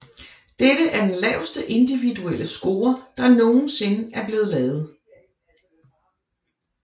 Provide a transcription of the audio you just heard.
Dette er er den laveste individuelle score der nogensinde er blevet lavet